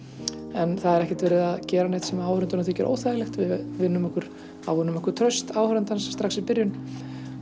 en það er ekkert verið að gera neitt sem áhorfandanum þykir óþægilegt við ávinnum okkur ávinnum okkur traust áhorfandans strax í byrjun